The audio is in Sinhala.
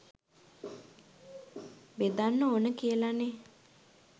බෙදන්න ඕන කියලා නෙ.